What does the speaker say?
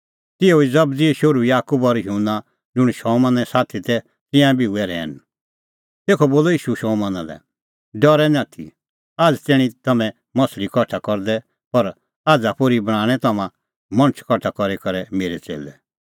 तिहअ ई जबदीए शोहरू याकूब और युहन्ना ज़ुंण शमौने साथी तै तिंयां बी हुऐ रहैन तेखअ बोलअ ईशू शमौना लै डरै निं आथी आझ़ तैणीं तै तम्हैं माह्छ़ली कठा करदै पर आझ़ा पोर्ही बणांणैं तम्हां मणछ कठा करी करै मेरै च़ेल्लै